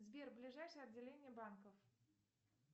сбер ближайшее отделение банков